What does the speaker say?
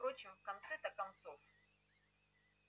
а впрочем в конце-то концов